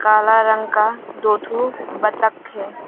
काला रंग का दो ठो बत्तख है।